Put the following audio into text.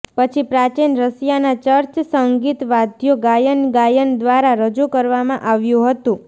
પછી પ્રાચીન રશિયાના ચર્ચ સંગીતવાદ્યો ગાયન ગાયન દ્વારા રજૂ કરવામાં આવ્યું હતું